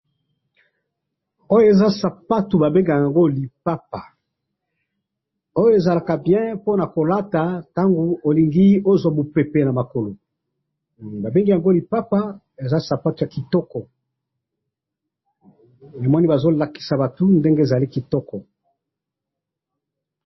Oyo eza sapatu babengaka yango lipapa, oyo ezalaka bien ponakolata tango olingi ozwa mupepe namakolo, babengi yango lipapa eza sapatu yakitoko, uyu muhungu azolakisa batu ndenge ezali kitoko.